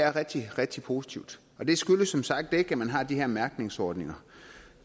er rigtig rigtig positivt og det skyldes som sagt ikke at man har de her mærkningsordninger